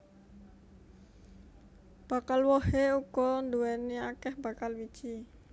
Bakal wohé uga nduwèni akèh bakal wiji